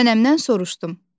Nənəmdən soruşdum.